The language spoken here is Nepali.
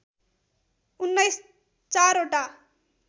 १९ चार वटा